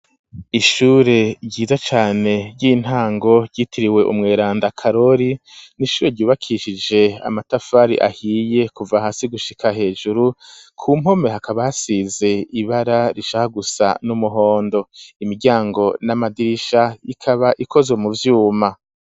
Ishure ryiza cane ry'intango, ryitiriwe umweranda. Karori , n'ishure ryubakishije amatafari ahiye ,kuva hasi gushika hejuru, ku mpome hakaba hasize ibara rishaka gusa n'umuhondo, imiryango n'amadirisha ikaba ikoze mu vyuma.